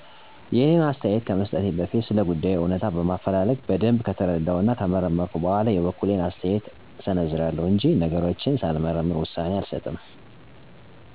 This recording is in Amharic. የእኔን አስተያየት ከመሰጠቴ በፊት ስለጉዳዩ እውነታ በማፈላለግ በደንብ ከተረዳሁ እና ከመረመረሁ በኋላ የበኩሌን አስተያየት እሰነዝራለሁ እንጅ ነገሮችን ሳልመረምር ውሳኔ አልሰጥበትም።